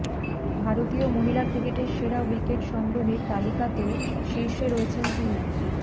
ভারতীয় মহিলা ক্রিকেটের সেরা উইকেট সংগ্রহীর তালিকাতেও শীর্ষে রয়েছেন তিনি